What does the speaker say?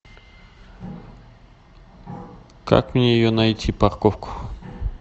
как мне ее найти парковку